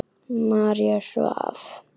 María svaf.